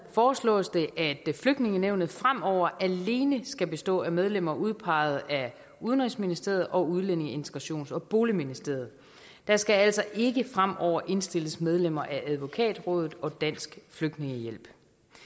foreslås det at flygtningenævnet fremover alene skal bestå af medlemmer udpeget af udenrigsministeriet og udlændinge integrations og boligministeriet der skal altså ikke fremover indstilles medlemmer af advokatrådet og dansk flygtningehjælp